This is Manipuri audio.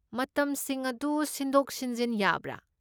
ꯃꯇꯝꯁꯤꯡ ꯑꯗꯨ ꯁꯤꯟꯗꯣꯛ ꯁꯤꯟꯖꯤꯟ ꯌꯥꯕ꯭ꯔꯥ?